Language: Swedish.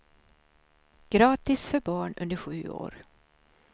Gratis för barn under sju år.